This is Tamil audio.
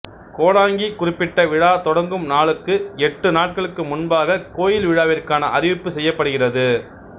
கோடாங்கி குறிப்பிட்ட விழா தொடங்கும் நாளுக்கு எட்டு நாட்களுக்கு முன்பாக கோயில் விழாவிற்கான அறிவிப்பு செய்யப்படுகிறது